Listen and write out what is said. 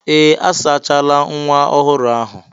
Ee! A sachala nwa ọhụrụ ahụ.